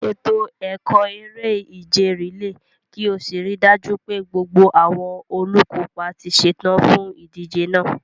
Ṣètò ẹ̀kọ́ eré-ìje rìléè kí o sì rí i dájú pé gbogbo àwọn olùkópa ti ṣetán fún ìdíje náà.